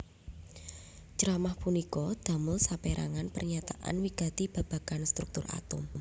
Ceramah punika damel sapérangan pernyataan wigati babagan struktur atom